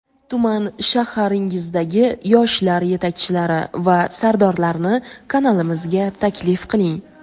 tuman (shahar)ingizdagi yoshlar yetakchilari va sardorlarni kanalimizga taklif qiling.